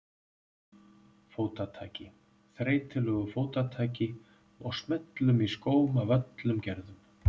Fótataki, þreytulegu fótataki og smellum í skóm af öllum gerðum.